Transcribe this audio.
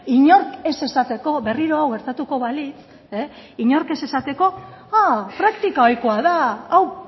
inork ez esateko berriro hau gertatuko balitz inork ez esateko praktika ohikoa da hau